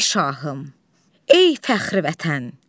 Ey Şahım, Ey Fəxri Vətən!